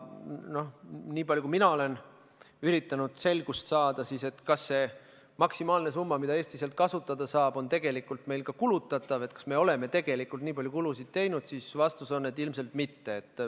Niipalju, kui mina olen üritanud selgust saada, kas see maksimaalne summa, mida Eesti sealt kasutada saab, on tegelikult meil ka kulutatav, kas me oleme tegelikult nii palju kulutusi teinud, võin vastuseks öelda, et ilmselt mitte.